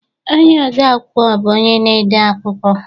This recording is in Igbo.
Ọnye ode- akwụkwọ bụ onye na-ede akwụkwọ